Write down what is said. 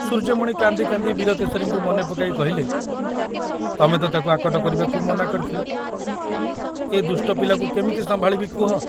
ସୂର୍ଯ୍ୟମଣି କାନ୍ଦି କାନ୍ଦି ବୀରକେଶରୀଙ୍କୁ ମନେ ପକାଇ କହିଲେ, ତମେ ତ ତାକୁ ଆକଟ କରିବାକୁ ମନା କରିଥିଲ, ଏ ଦୁଷ୍ଟ ପିଲାକୁ କେମିତି ସମ୍ଭାଳିବି କୁହ।